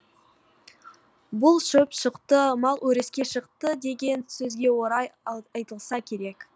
бұл шөп шықты мал өріске шықты деген сөзге орай айтылса керек